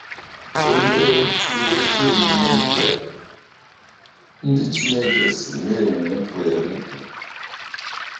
Olee otú ezi omume nke ndị Chineke si na - enwupụ enwupụ?